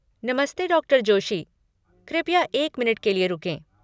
नमस्ते, डॉ. जोशी। कृपया एक मिनट के लिए रुकें।